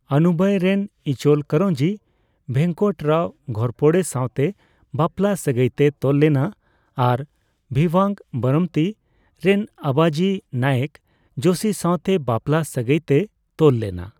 ᱟᱱᱩᱵᱟᱭ ᱨᱮᱱ ᱤᱪᱚᱞᱠᱚᱨᱧᱡᱤ ᱵᱷᱮᱝᱠᱚᱴ ᱨᱟᱣ ᱜᱷᱳᱨᱯᱚᱲᱮ ᱥᱟᱸᱣᱛᱮ ᱵᱟᱯᱞᱟ ᱥᱟᱹᱜᱟᱹᱭᱛᱮᱭ ᱛᱚᱞ ᱞᱮᱱᱟ ᱟᱨ ᱵᱷᱤᱣᱵᱟᱝ ᱵᱟᱨᱟᱢᱛᱤ ᱨᱮᱱ ᱟᱵᱟᱡᱤ ᱱᱟᱭᱮᱠ ᱡᱳᱥᱤ ᱥᱟᱸᱣᱛᱮ ᱵᱟᱯᱞᱟ ᱥᱟᱹᱜᱟᱹᱭ ᱛᱮᱭ ᱛᱚᱞ ᱞᱮᱱᱟ ᱾